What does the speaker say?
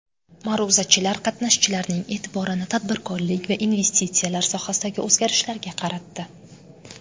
Ma’ruzachilar qatnashchilarning e’tiborini tadbirkorlik va investitsiyalar sohasidagi o‘zgarishlarga qaratdi.